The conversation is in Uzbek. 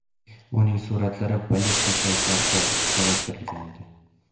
Uning suratlari politsiya saytlarida joylashtirilgan edi.